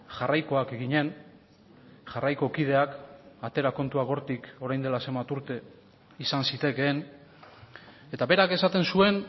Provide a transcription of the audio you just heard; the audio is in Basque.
jarraikoak ginen jarraiko kideak atera kontuak hortik orain dela zenbat urte izan zitekeen eta berak esaten zuen